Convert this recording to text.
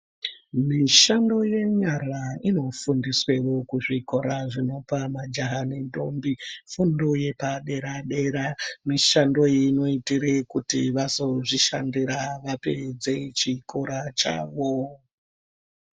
Mishando yenyara inofundiswewo kuzvikora zvinopa majaha nendombi fundo yepadera-dera. Mishando iyi inoite kuti vazozvishandira vapedze chikora chavo.